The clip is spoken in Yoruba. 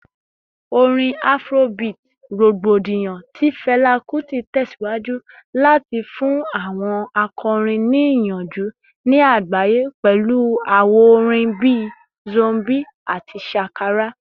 Orin Afrobeat rogbodiyan ti Fela Kuti tẹsiwaju lati fun awọn akọrin ni iyanju ni agbaye pẹlu awọn awo-orin bii “Zombie” ati “Shakara”